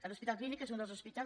l’hospital clínic és un dels hospitals